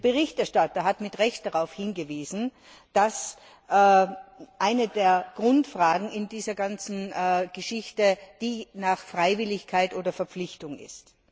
Der Berichterstatter hat mit Recht darauf hingewiesen, dass eine der Grundfragen in dieser ganzen Geschichte die nach Freiwilligkeit oder Verpflichtung ist.